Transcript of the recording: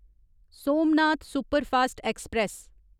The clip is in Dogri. Somnath superfast express